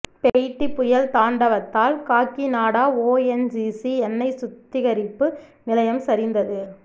Phethai புயல் தாண்டவத்தால் Kakinada ONGC எண்ணெய் சுத்திகரிப்பு நிலையம் சரிந்தது